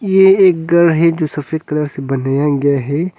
ये एक घर है जो सफेद कलर से बनाया गया है।